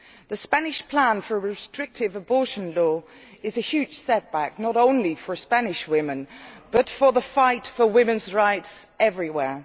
The Spanish plan for a restrictive abortion law is a huge setback, not only for Spanish women but for the fight for women's rights everywhere.